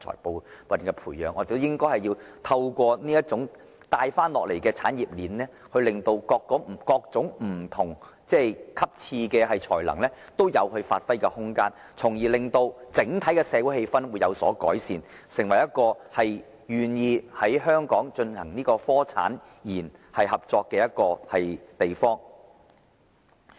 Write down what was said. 我們應透過由上而下的產業鏈，令各種不同層次的人才均有發揮空間，從而令整體社會氣氛有所改善，使香港成為適合進行產學研合作的地方。